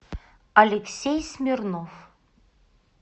алексей смирнов